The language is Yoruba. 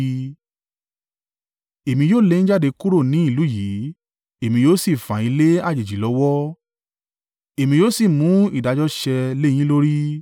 Èmi yóò lé yín jáde kúrò ní ìlú yìí, èmi yóò sì fà yín lé àjèjì lọ́wọ́, èmi yóò sì mú ìdájọ́ ṣẹ lé yín lórí.